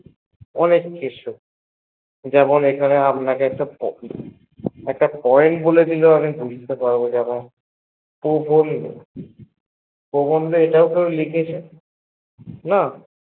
অনেক কিছু যেমন আপনাকে একটা কিছু point বলে দিলে বুঝতে পারবো প্রবন্ধ এটাও কেউ লিখেছে না